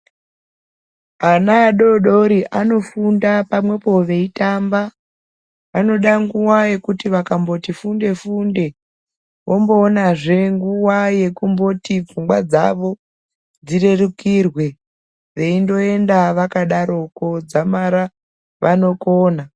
Ana adodori anofunda pamwepo veyitamba, vanode nguwa yekuti vakamboti funde-funde, vomboonazve nguwa yekumboti pfungwa dzavo dzirerukirwe, veyindoenda vakadaroko dzamara vanokona.